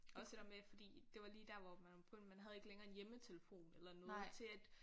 Også det der med fordi det var lige der hvor man begyndte man havde ikke længere en hjemmetelefon eller noget til at